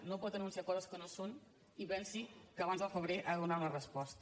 no pot anunciar coses que no són i pensi que abans del febrer ha de donar una resposta